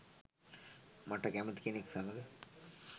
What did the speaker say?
"මට කැමති කෙනෙක් සමග